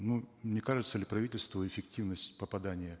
ну не кажется ли правительству эффективность попадания